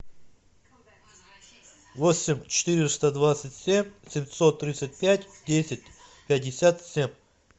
восемь четыреста двадцать семь семьсот тридцать пять десять пятьдесят семь